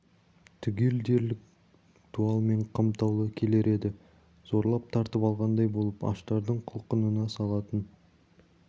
түгел дерлік дуалмен қымтаулы келер еді зорлап тартып алғандай болып аштардың құлқынына салатын